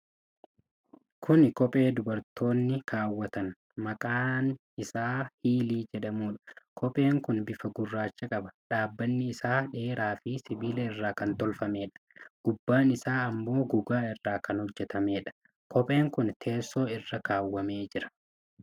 Kuni kophee dubartooti kaawwatan, kan maqaan isaa Hiilii jedhamudha. Kopheen kun bifa gurraacha qaba. dhaabbanni isaa dheeraa fi sibiila irraa kan tolfamedha. Gubbaan isaa ammoo gogaa irraa kan hojjatameedha. kopheen kun teesso irra kaawwamee jira.